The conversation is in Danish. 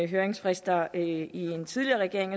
høringsfrister i den tidligere regering